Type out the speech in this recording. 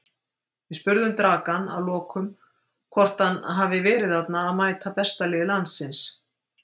Við spurðum Dragan að lokum hvort hann hafi þarna verið að mæta besta liði landsins?